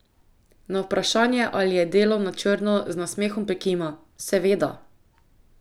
Na vprašanje, ali je delal na črno, z nasmehom prikima: 'Seveda.